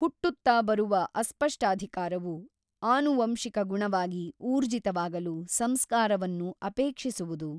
ಹುಟ್ಟುತ್ತ ಬರುವ ಅಸ್ಪಷ್ಟಾಧಿಕಾರವು ಆನುವಂಶಿಕ ಗುಣವಾಗಿ ಊರ್ಜಿತವಾಗಲು ಸಂಸ್ಕಾರವನ್ನು ಅಪೇಕ್ಷಿಸುವುದು.